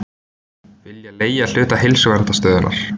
Vilja leigja hluta Heilsuverndarstöðvarinnar